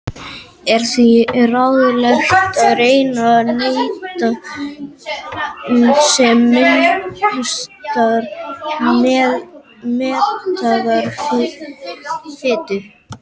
Er því ráðlegt að reyna að neyta sem minnstrar mettaðrar fitu.